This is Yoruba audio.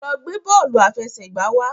lọ gbé bóòlù afẹsẹgba wá!